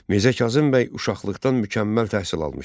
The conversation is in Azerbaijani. Mirzə Kazım bəy uşaqlıqdan mükəmməl təhsil almışdı.